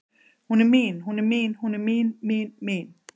Hún er mín, hún er mín, hún er mín, mín, mín.